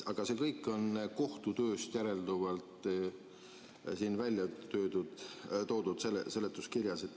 Aga see kõik on kohtu tööst järelduvalt seletuskirjas välja toodud.